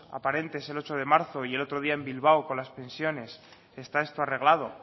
aparentes el ocho de marzo y el otro día en bilbao con las pensiones esta esto arreglado